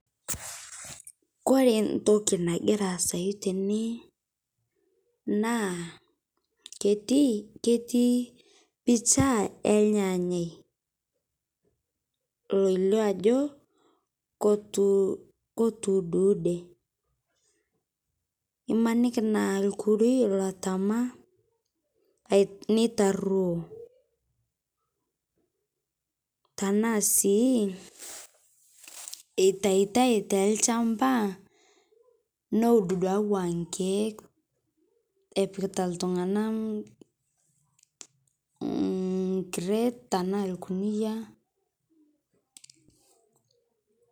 Kore ntokii nagira aasai tene naa ketii ketii picha e ilnyanye loileo ajoo kotuu kotuu udeude, imanikii naa lkurui loptama neitareo, tana sii eitaitai te lchambaa neuud duake waa nkiek apikitaa ltung'ana crate tana ilkunia.